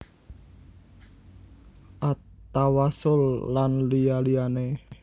At Tawassul lan liya liyane